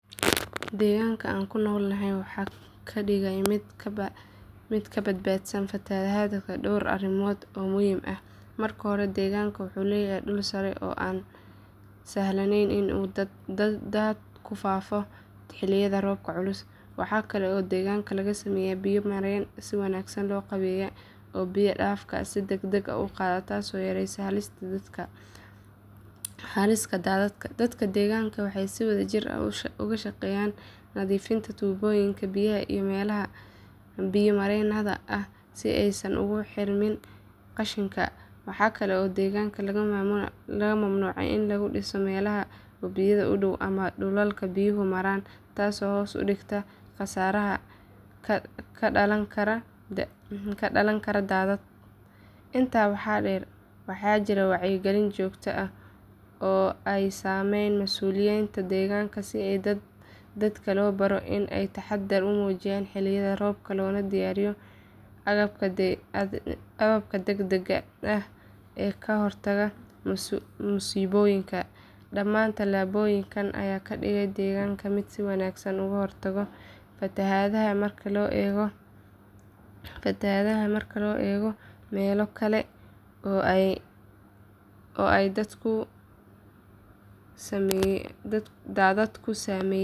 Deegaanka aan ku noolahay waxaa ka dhigaya mid ka badbaadsan fatahaadaha dhowr arrimood oo muhiim ah. Marka hore deegaanka wuxuu leeyahay dhul sare ah oo aan sahlanayn in uu daad ku fataho xilliyada roobka culus. Waxaa kale oo deegaanka laga sameeyay biyo mareeno si wanaagsan loo qaabeeyay oo biyo dhaafka si degdeg ah u qaada taasoo yaraysa halista daadadka. Dadka deegaanka waxay si wadajir ah uga shaqeeyaan nadiifinta tuubooyinka biyaha iyo meelaha biyo mareenada ah si aysan ugu xirmin qashinka. Waxaa kale oo deegaanka laga mamnuucay in lagu dhiso meelaha wabiyada u dhow ama dhulalka biyuhu maraan taasoo hoos u dhigtay khasaaraha ka dhalan kara daadad. Intaa waxaa dheer waxaa jira wacyigelin joogto ah oo ay sameeyaan mas’uuliyiinta deegaanka si dadka loo baro in ay taxaddar muujiyaan xilliyada roobka loona diyaariyo agabka degdegga ah ee ka hortagga musiibooyinka. Dhammaan tallaabooyinkan ayaa ka dhigaya deegaanka mid si wanaagsan uga hortaga fatahaadaha marka loo eego meelo kale oo ay daadadku saameeyeen.